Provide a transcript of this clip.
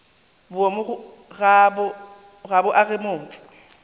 boomo ga bo age motse